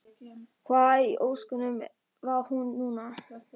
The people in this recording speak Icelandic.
Hvar í ósköpunum var hann núna?